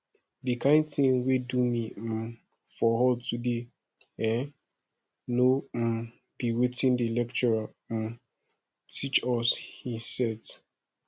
the kin thing wey do me um for hall today eh no um be wetin the lecturer um teach us he set